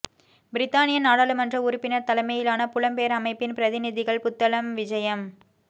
பிரித்தானிய நாடாளுமன்ற உறுப்பினர் தலைமையிலான புலம்பெயர் அமைப்பின் பிரதிநிதிகள் புத்தளம் விஜயம்